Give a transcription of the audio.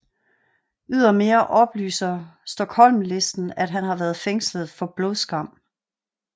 Ydermere oplyser Stockholmlisten at han har været fængslet for blodskam